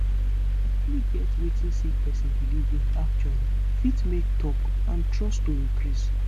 to truly get wetin sick pesin belief in actually fit make talk and trust to increase